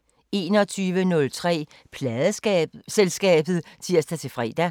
21:03: Pladeselskabet (tir-fre)